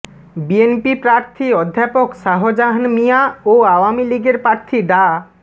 BNP প্রার্থী অধ্যাপক শাহজাহান মিঞা ও আওয়ামী লীগের প্রার্থী ডা